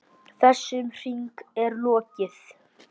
Þessum hring er lokið.